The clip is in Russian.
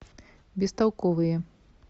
бестолковые